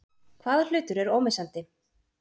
Hvaða hlutur er ómissandi?